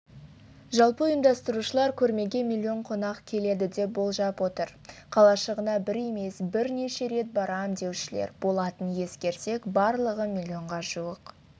жалпы ұйымдастырушылар көрмеге миллион қонақ келеді деп болжап отыр қалашығына бір емес бірнеше рет барам деушілер болатынын ескерсек барлығы миллионға жуық